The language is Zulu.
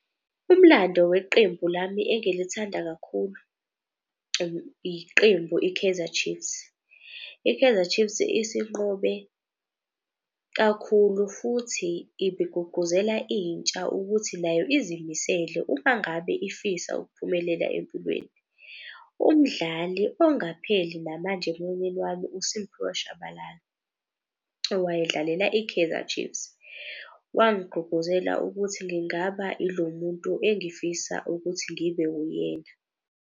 Umlando weqembu lami engilithanda kakhulu iqembu i-Kaizer Chiefs. I-Kaizer Chiefs isinqobe kakhulu futhi iguguzela intsha ukuthi nayo izimisele uma ngabe ifisa ukuphumelela empilweni. Umdlali ongapheli namanje emoyeni wami uSimphiwe Shabalala, owayedlalela i-Kaizer Chiefs. Wangigqugquzela ukuthi ngingaba ilo muntu engifisa ukuthi ngibe wuyena.